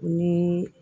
Ni